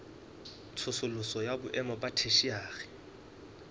tsosoloso ya boemo ba theshiari